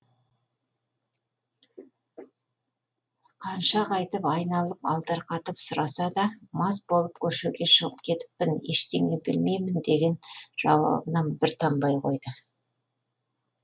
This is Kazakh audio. қанша қайтып айналып алдарқатып сұраса да мас болып көшеге шығып кетіппін ештеңе білмеймін деген жауабынан бір танбай қойды